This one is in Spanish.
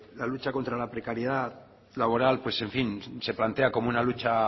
la lucha contra la precariedad laboral se plantea como una lucha